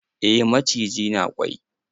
Eh maciji na kwai.